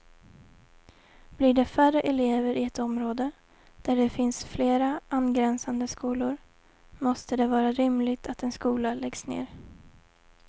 Blir det färre elever i ett område, där det finns flera angränsande skolor, måste det vara rimligt att en skola läggs ned.